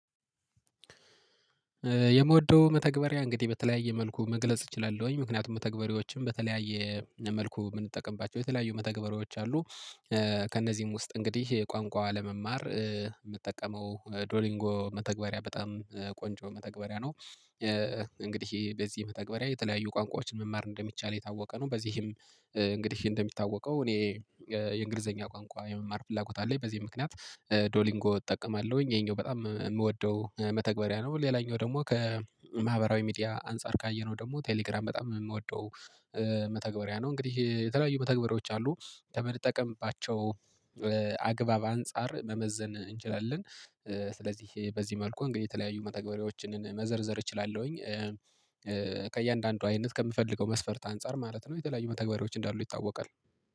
የምወደው መተግበሪያ እንግዲህ በተለያየ መልኩ መግለጽ እችላለሁኝ ምክንያቱም መተግባሪዎችም በተለያየ መልኩ የምንጠቀምባቸው የተለያዩ መተግበሪያዎች አሉ። ከእነዚህም ውስጥ እንግዲህ ቋንቋ ለመማር የምጠቀመው ዶሊንጎ መተግበሪያ በጣም ቆንጆ መተግበሪያ ነው። እንግዲህ በዚህ መተግበሪያ የተለያዩ ቋንቋዎችን መማር እንደሚቻል የታወቀ ነው። በዚህም እንግዲህ እንደሚታወቀው እኔ የእንግሊዘኛ ቋንቋ የመማር ፍላጎት አለኝ በዚህ ምክንያት ዶሊንጎ እጠቀማለሁኝ። ይሄኛው በጣም የምወደው መተግበሪያ ነው። ሌላኛው ደግሞ ከማህበራዊ ሚዲያ አንፃር ካየነው ደግሞ ቴሌግራም በጣም የምወደው መተግበሪያ ነው። እንግዲህ የተለያዩ መተግበሪያዎች አሉ ከምንጠቀምባቸው አግባብ አንፃር መመዘን እንችላለን። ስለዚህ በዚህ መልኩ እንግዲህ የተለያዩ መተግበሪያዎችን መዘርዘር እችላለሁኝ። አይነት ከምፈልገው መስፈርት አንፃር ማለት ነው። የተለያዩ መተግበሪዎች እንዳሉ ይታወቃል